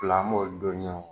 Fila an b'olu don